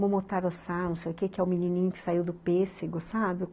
Momotaro-san, não sei o quê, que é o menininho que saiu do pêssego, sabe?